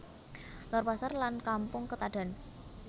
Lor Pasar lan Kampung Ketadan